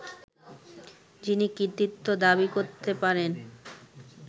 যিনি কৃতিত্ব দাবি করতে পারেন